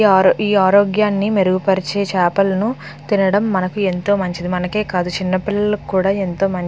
ఈ ఆరోగాన్ని మెరుగు పరిచే చపలను తినడం మనకి ఎంతో మంచిది మనకే కాదు చిన్న పిలలకు కూడా ఏంతో మంచి --